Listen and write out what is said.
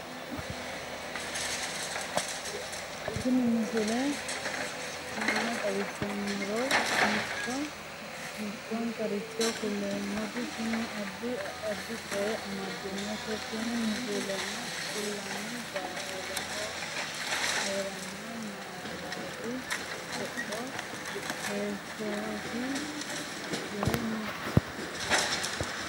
tini misile maa xawissannoro mito mittonkaricho kulummoro tini addi addicoy amaddinote tini misileno kultannori barahaho heeranno gaalati haxo heeshshi yee no